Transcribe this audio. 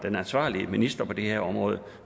ansvarlige minister på det her område